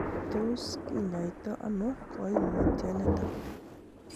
Tos kinyoito ono koimutioniton?